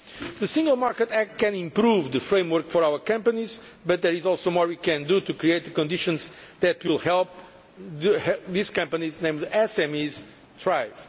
The Single Market Act can improve the framework for our companies, but there is also more we can do to create the conditions that will help these companies, namely the SMEs, to thrive.